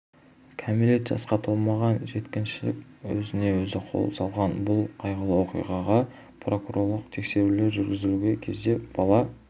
кәмелет жасқа толмаған жеткіншек өзіне-өзі қол салған бұл қайғылы оқиғаға прокурорлық тексерулер жүргізілген кезде бала